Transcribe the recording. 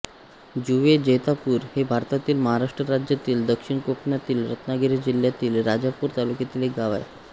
जुवे जैतापूर हे भारतातील महाराष्ट्र राज्यातील दक्षिण कोकणातील रत्नागिरी जिल्ह्यातील राजापूर तालुक्यातील एक गाव आहे